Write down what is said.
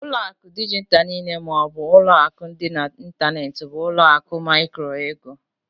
Ụlọ akụ dijitalụ niile ma ọ bụ ụlọ akụ dị n'ịntanetị bụ ụlọ akụ micro-ego.